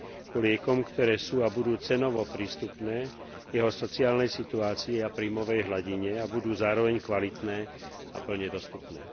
Ku liekom, ktoré sú a budú cenovo prístupné, v jeho sociálnej situácii a príjmovej hladine a budú zároveň kvalitné a plne dostupné.